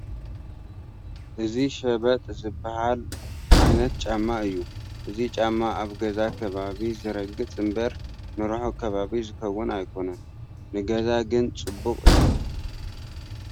እዚ ሸበጥ ዝበሃል ዓይነት ጫማ እዩ፡፡ እዚ ጫማ ኣብ ገዛ ከባቢ ዝርገፅ እምበር ንርሑቕ ከባቢ ዝኸውን ኣይኮነን፡፡ ንገዛ ግን ፅቡቕ እዩ፡፡